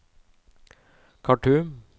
Khartoum